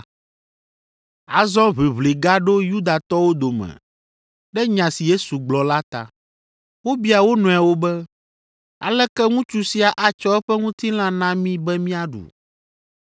Azɔ ʋiʋli gaɖo Yudatɔwo dome ɖe nya si Yesu gblɔ la ta. Wobia wo nɔewo be, “Aleke ŋutsu sia atsɔ eƒe ŋutilã na mí be míaɖu?”